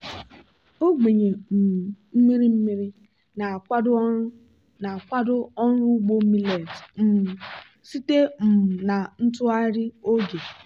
ogbenye um mmiri mmiri na-akwado ọrụ na-akwado ọrụ ugbo millet um site um na ntụgharị oge.